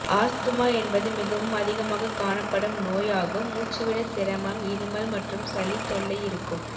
asthma என்பது மிகவும் அதிகமாக காணப்படும் நோய் ஆகும் முச்சுவிட சிரமம் இருமல் மற்றும் சளி தொல்லைஇருக்கும்